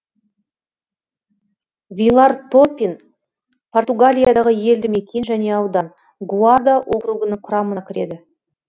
вилар торпин португалиядағы елді мекен және аудан гуарда округінің құрамына кіреді